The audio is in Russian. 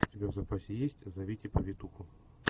у тебя в запасе есть зовите повитуху